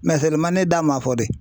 ne da man fɔ dɛ.